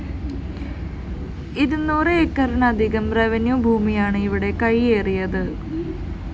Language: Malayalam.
ഇരുന്നൂറ് ഏക്കറിലധികം റെവന്യൂ ഭൂമിയാണ് ഇവിടെ കൈയേറിയത്